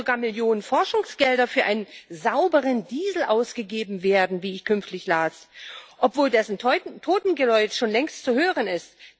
Und da sollen sogar Millionen Forschungsgelder für einen sauberen Diesel ausgegeben werden, wie ich kürzlich las, obwohl dessen Totengeläut schon längst zu hören ist.